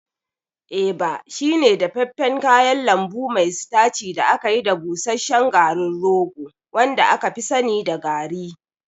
Eba shine dafaffen kayan lambu mai sitaci da aka yi da busasshen garin rogo wanda aka fi sani da garri.